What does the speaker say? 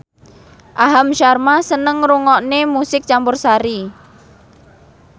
Aham Sharma seneng ngrungokne musik campursari